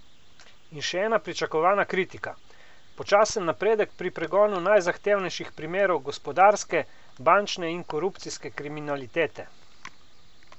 In še ena pričakovana kritika: "Počasen napredek pri pregonu najzahtevnejših primerov gospodarske, bančne in korupcijske kriminalitete".